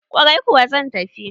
Ƙwarai kuwa zan tafi